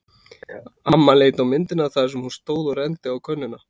Amma leit á myndina þar sem hún stóð og renndi á könnuna.